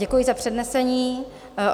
Děkuji za přednesení.